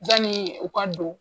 Yanni u ka don